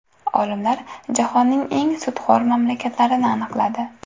Olimlar jahonning eng sutxo‘r mamlakatlarini aniqladi.